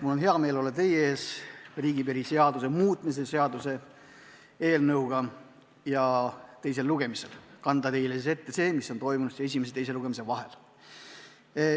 Mul on hea meel olla teie ees riigipiiri seaduse muutmise seaduse eelnõuga ja teisel lugemisel kanda teile ette see, mis on toimunud esimese ja teise lugemise vahel.